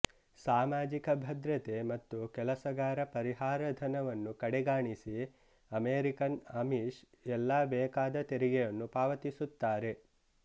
ಸಾಮಾಜಿಕ ಭದ್ರತೆ ಮತ್ತು ಕೆಲಸಗಾರಪರಿಹಾರ ಧನವನ್ನು ಕಡೆಗಾಣಿಸಿ ಅಮೆರಿಕನ್ ಅಮಿಶ್ ಎಲ್ಲಾ ಬೇಕಾದ ತೆರಿಗೆಯನ್ನು ಪಾವತಿಸುತ್ತಾರೆ